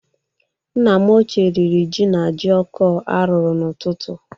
Nna m ochie riri jí na jioko a rụrụ n'ụtụtụ.